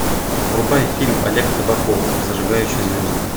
врубай фильм олег табаков зажигающий звезды